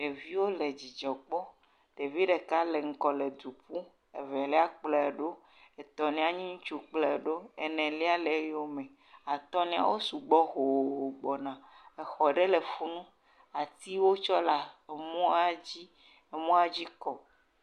Ɖeviwo le dzidzɔ kpɔ. Ɖevi ɖeka le ŋgɔ le du ƒu. Evelia kplɔe ɖo. Etɔ̃lia nye ŋutsu kplɔe ɖo. Enelia le eyome. Atɔ̃lia, wo sugbɔ hooo gbɔna. Exɔ ɖe hã le funu. Atiwo tsɔ la emɔa dzi. Emɔa dzi kɔ.